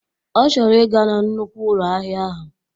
Ọ chọrọ ị ga na nnukwu ụlọ ahịa ahụ.